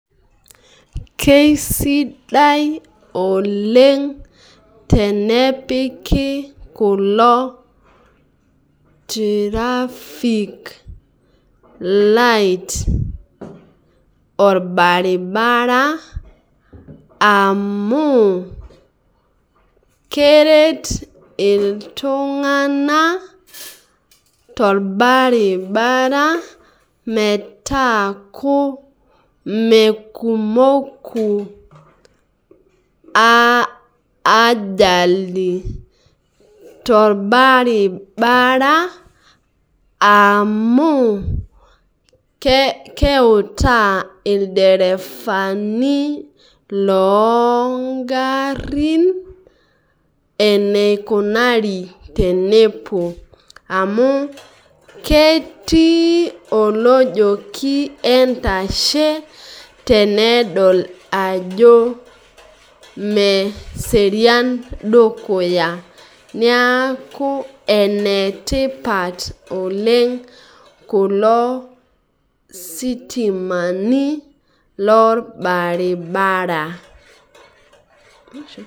Kesidai oleng tenepiki kulo tirafik light orbaribara, amu, keret iltung'anak torbaribara metaaku mekumoku ajali torbaribara amu, keutaa ilderefani logarrin, eneikunari tenepuo amu, ketii olojoki entashe tenedol ajo meserian dukuya. Niaku, enetipat oleng kulo sitimani lorbaribara.